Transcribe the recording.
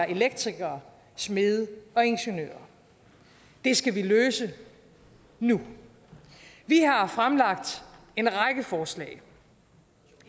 elektrikere smede og ingeniører det skal løses nu vi har fremlagt en række forslag